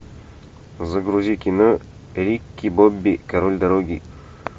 загрузи кино рики бобби король дороги